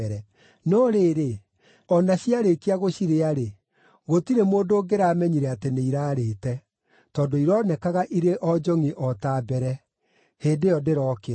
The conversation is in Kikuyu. No rĩrĩ, o na ciarĩkia gũcirĩa-rĩ, gũtirĩ mũndũ ũngĩramenyire atĩ nĩirarĩĩte; tondũ ironekaga irĩ o njongʼi o ta mbere. Hĩndĩ ĩyo ndĩrokĩra.